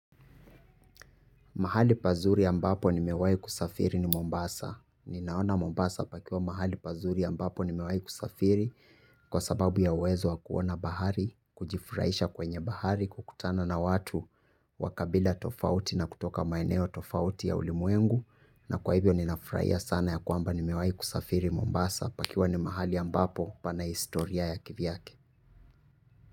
Mahali pazuri ambapo nimewahi kusafiri ni Mombasa. Ninaona Mombasa pakiwa mahali pazuri ambapo nimewahi kusafiri kwa sababu ya uwezo wa kuona bahari, kujifurahisha kwenye bahari, kukutana na watu wa kabila tofauti na kutoka maeneo tofauti ya ulimwengu. Na kwa hivyo ninafurahia sana ya kwamba nimewahi kusafiri Mombasa pakiwa ni mahali ambapo pana historia ya kivyake.